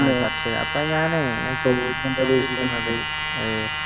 ആഹ് ചർച്ചയാ അപ്പൊ ഞാനേ ഞാൻ ചോദിച്ചോണ്ടിരിക്കുന്നതു അഹ്